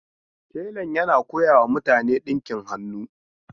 Telan yana koyawa mutane dinkin hannu.